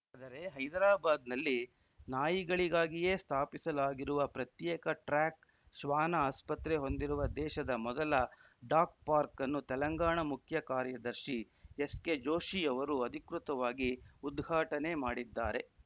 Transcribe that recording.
ಆದರೆ ಹೈದರಾಬಾದ್‌ನಲ್ಲಿ ನಾಯಿಗಳಿಗಾಗಿಯೇ ಸ್ಥಾಪಿಸಲಾಗಿರುವ ಪ್ರತ್ಯೇಕ ಟ್ರ್ಯಾಕ್‌ ಶ್ವಾನ ಆಸ್ಪತ್ರೆ ಹೊಂದಿರುವ ದೇಶದ ಮೊದಲ ಡಾಗ್‌ ಪಾರ್ಕ್ ಅನ್ನು ತೆಲಂಗಾಣ ಮುಖ್ಯ ಕಾರ್ಯದರ್ಶಿ ಎಸ್‌ಕೆಜೋಷಿ ಅವರು ಅಧಿಕೃತವಾಗಿ ಉದ್ಘಾಟನೆ ಮಾಡಿದ್ದಾರೆ